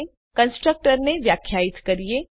ચાલો હવે કન્સ્ટ્રક્ટર ને વ્યાખ્યાયિત કરીએ